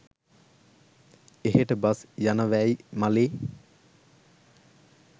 එහෙට බස් යනවැයි මලේ